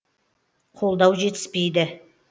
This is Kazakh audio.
қолдау жетіспейді